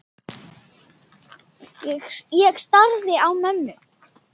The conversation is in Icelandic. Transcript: Ég starði á mömmu.